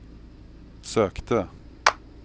sökte